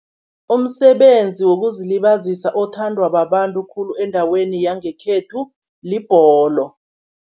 Umsebenzi wokuzilibazisa othandwa babantu khulu, endaweni yangekhethu libholo.